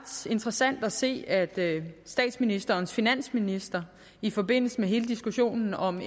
interessant at se at statsministerens finansminister i forbindelse med hele diskussionen om